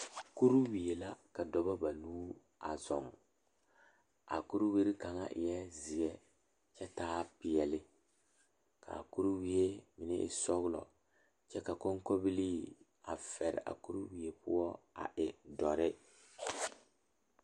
Kuriwiire la ka dɔɔba banuu a zɔŋ a a kuriwiire kaŋa eɛ ziɛ kyɛ taa peɛle kaa kuriwiire mine e sɔglɔ kyɛ ka konkobile fare a kuriwiire poɔ a e doɔre.